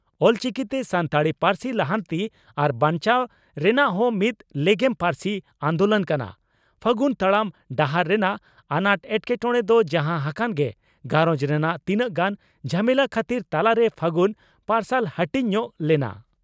ᱚᱞᱪᱤᱠᱤ ᱛᱮ ᱥᱟᱱᱛᱟᱲᱤ ᱯᱟᱨᱥᱤ ᱞᱟᱦᱟᱱᱛᱤ ᱟᱨ ᱵᱟᱧᱪᱟᱣ ᱨᱮᱱᱟᱦ ᱢᱤᱛ ᱞᱮᱜᱮᱢ ᱯᱟᱨᱥᱤ ᱟᱱᱫᱳᱞᱳᱱ ᱠᱟᱱᱟ ᱾ᱯᱷᱟᱹᱜᱩᱱ ᱛᱟᱲᱟᱢ ᱰᱟᱦᱟᱨ ᱨᱮᱱᱟᱜ ᱟᱱᱟᱴ ᱮᱴᱠᱮᱴᱚᱬᱮ ᱫᱚ ᱡᱟᱦᱟᱸ ᱦᱟᱠᱟᱱ ᱜᱮ ᱜᱷᱟᱨᱚᱸᱡᱽ ᱨᱮᱱᱟᱜ ᱛᱤᱱᱟᱝ ᱜᱟᱱ ᱡᱷᱟᱢᱮᱞᱟ ᱠᱷᱟᱹᱛᱤᱨ ᱛᱟᱞᱟᱨᱮ ᱯᱷᱟᱹᱜᱩᱱ ᱯᱟᱨᱥᱟᱞ ᱦᱟᱹᱴᱤᱧ ᱧᱚᱜ ᱞᱮᱱᱟ ᱾